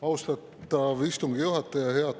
Austatav istungi juhataja!